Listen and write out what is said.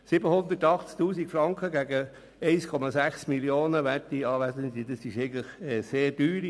780 000 Franken im Vergleich zu 1,6 Mio. Franken: Werte Anwesende, das ist eigentlich sehr teuer.